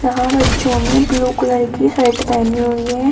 यहां बच्चों ने ब्लू कलर की शर्ट पहनी हुई है।